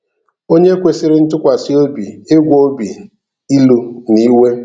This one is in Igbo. Onye kwesịrị ntụkwasị obi ịgwọ obi ílú na iwe.